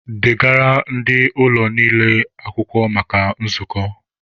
Degara ndị ọlụ niile akwụkwọ maka nzukọ!